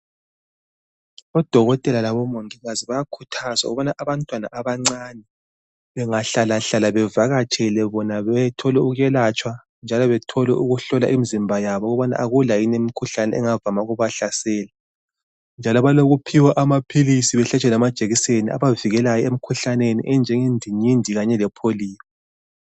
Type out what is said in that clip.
Odokotela labongikazi bayakhuthazwa ukuba abantwana abancane bangahlalahlala bavakatshele bona bathole ukwelatshwa njalo bathole ukuhlolwa imizimba yabo ukubana akulamkhuhlane engavama ukubahlasela njalo balookuphiwa amaphilisi balatshwe lamajekiseni okuvijela imikhuhlane ebahlaselayo enjengendingindi le pholiyo.